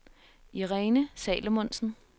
Irene Salomonsen